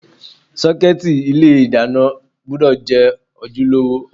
Sọ́kẹ́tì ilé ìdáná gbúdọ̀ jẹ́ ojúlówó.